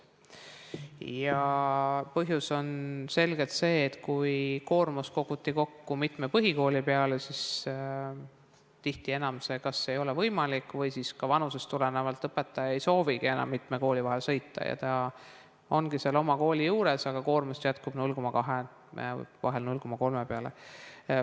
Põhjus on selgelt see, et koormus koguti kokku mitmest põhikoolist, aga tihti see enam kas ei ole võimalik või vanusest tulenevalt õpetaja ei soovigi enam mitme kooli vahet sõita, ta ongi seal oma kooli juures, aga koormust jätkub 0,2 ja vahel 0,3 koha peale.